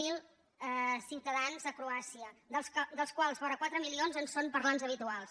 zero ciutadans de croàcia dels quals vora quatre milions en són parlants habituals